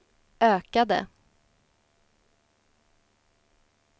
ökade